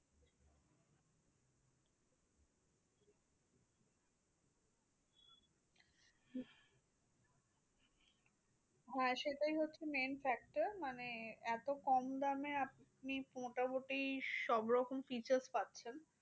হ্যাঁ সেটাই হচ্ছে main factor মানে এত কম দামে আপনি মোটামুটি সবরকম features পাচ্ছেন।